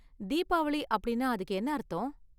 தீபாவளி அப்படின்னா அதுக்கு என்ன அர்த்தம்?